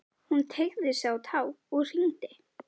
Hún teygði sig á tá og hringdi.